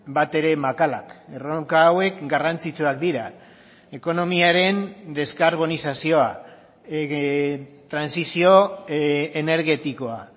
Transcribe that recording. batere makalak erronka hauek garrantzitsuak dira ekonomiaren deskarbonizazioa trantsizio energetikoa